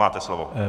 Máte slovo.